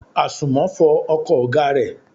Àsùnmọ́ fọ ọkọ̀ ọ̀gá rẹ.